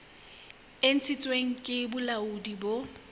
e ntshitsweng ke bolaodi bo